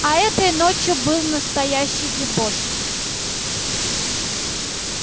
а этой ночью был настоящий дебош